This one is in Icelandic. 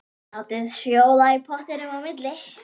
Látið sjóða í pottinum á milli.